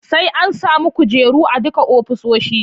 Sai an sami kujeru a duka ofisoshi